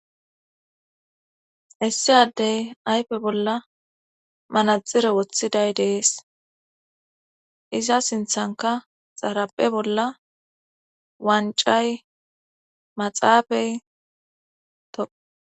issi addey aype bolla manaxire woththiday dees iza sinthanka xaraphe bolla wancay maxaafey to